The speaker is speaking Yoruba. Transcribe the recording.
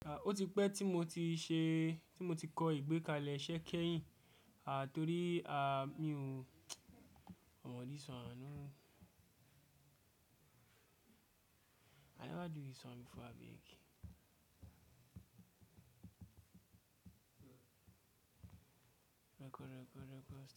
O ti pẹ ti mo ti ṣe, ti mo ti kọ ìgbékalẹ̀ iṣẹ́ kẹ́yìn, a torí a, mí ò, ọmọ this oneh never do this one before, abeg. Rẹ́kọ̀, rẹ́kọ̀, rẹ́kọ̀.